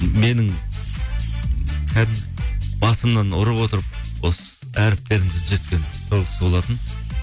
менің басымнан ұрып отырып осы әріптерімді түзеткен сол кісі болатын